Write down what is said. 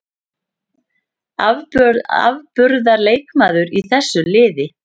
Afburðar leikmaður í þessu liði.